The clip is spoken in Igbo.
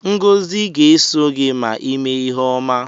Ngozi ga-eso gị ma ị me ihe ọma.